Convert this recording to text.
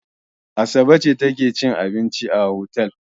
Asabe ce take cin abinci a otel.